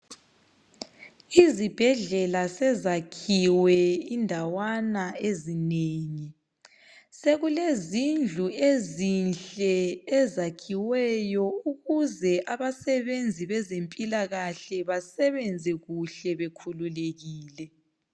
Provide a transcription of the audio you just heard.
Izibhedlela sezakhiwe indawana ezinengi. Sekulezindlu ezinhle ezakhiweyo ukuze abasebenzi bezempilakahle basebenze kuhle bekhululekile.